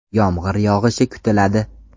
Yomg‘ir yog‘ishi kutiladi.